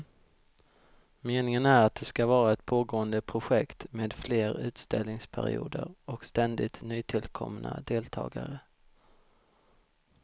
Meningen är att det ska vara ett pågående projekt med fler utställningsperioder och ständigt nytillkomna deltagare.